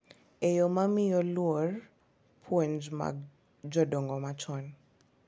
E yo ma miyo luor puonj mag jodongo machon .